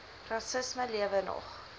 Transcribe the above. rassisme lewe nog